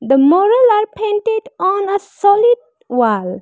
The moral are painted on a solid wall.